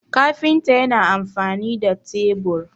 kafinta yana amfani da tebur